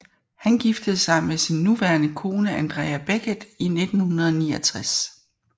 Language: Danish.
Han giftede sig med sin nuværende kone Andrea Beckett i 1969